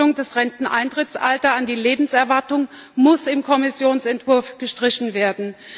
Die Koppelung des Renteneintrittsalters an die Lebenserwartung muss im Kommissionsentwurf gestrichen werden.